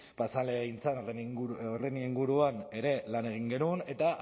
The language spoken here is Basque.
pasa den legegintzaldian horren inguruan ere lan egin genuen eta